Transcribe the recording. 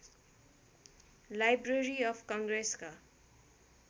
library of कङ्ग्रेसका